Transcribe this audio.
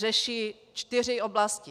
Řeší čtyři oblasti.